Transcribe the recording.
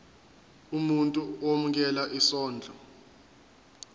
umuntu owemukela isondlo